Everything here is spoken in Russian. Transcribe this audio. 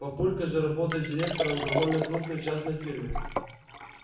папулька же работает директором в довольно крупной частной фирме